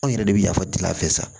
Anw yɛrɛ de bi yafa deli a fɛ sa